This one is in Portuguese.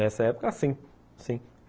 Nessa época, sim, sim.